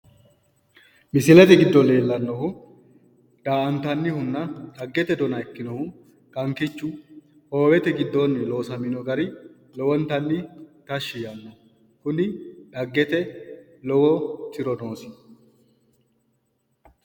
misilete giddo leeltanotino daa''antanihunna xaggete dona ikkinohu kankichu hoowete giddoonni loosamino gari lowontanni tashshi yaanno kuni xaggete lowo tiro noosi.